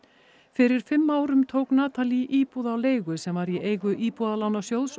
fyrir fimm árum tók íbúð á leigu sem var í eigu Íbúðalánasjóðs